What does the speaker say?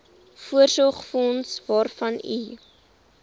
voorsorgsfonds waarvan u